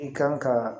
I kan ka